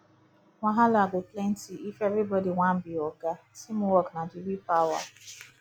wahala go plenty if everybody wan be oga teamwork na the real power